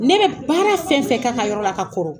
Ne bɛ baara fɛn fɛn k'a ka yɔrɔ la ka kɔrɔ